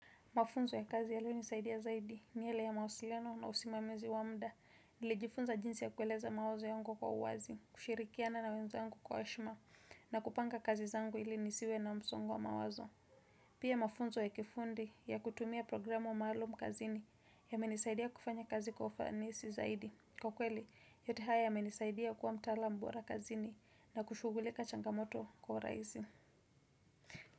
Mafunzo ya kazi yalio nisaidia zaidi ni yale ya mawasiliano na usimamizi wa muda nilijifunza jinsi ya kueleza mawazo yangu kwa uwazi, kushirikiana na wenzangu kwa heshima na kupanga kazi zangu ili nisiwe na msongo wa mawazo. Pia mafunzo ya kifundi ya kutumia programu maalum kazini yamenisaidia kufanya kazi kufanisi zaidi. Kwa kweli, yote haya yamenisaidia kuwa mtaalamu bora kazini na kushughulika changamoto kwa urahisi.